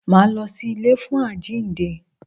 Máa lọ sí ilé fún àjínde.